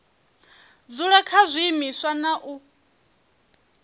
dzula kha zwiimiswa na u